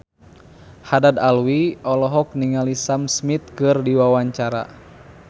Haddad Alwi olohok ningali Sam Smith keur diwawancara